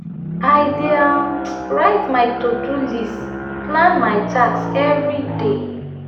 i dey um write my to-do list plan my tasks everyday.